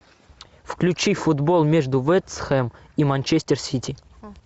включи футбол между вест хэм и манчестер сити